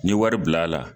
N ye wari bil'a la